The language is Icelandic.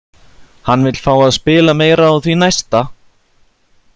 Hann vill fá að spila meira á því næsta!